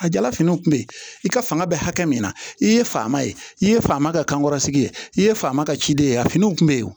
A jala finiw kun be ye i ka fanga bɛ hakɛ min na i ye fa ma ye i ye fama kɛ kankɔrɔsigi ye i ye fama ka ciden ye a finiw kun bɛ yen